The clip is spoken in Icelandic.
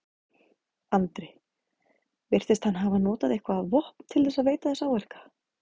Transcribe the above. Andri: Virtist hann hafa notað eitthvað vopn til þess að veita þessa áverka?